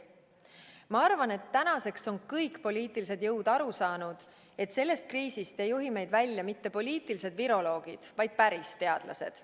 Ma arvan, et tänaseks on kõik poliitilised jõud aru saanud, et sellest kriisist ei juhi meid välja mitte poliitilised viroloogid, vaid päris teadlased.